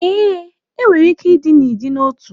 Ee, e nwere ike dị n'ịdị n'otu